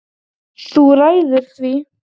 Þú ræður því.